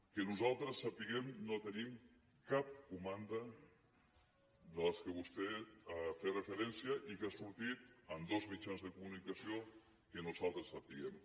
que nosaltres sapiguem no tenim cap comanda de les que vostè hi feia referència i que ha sortit en dos mitjans de comunicació que nosaltres sapiguem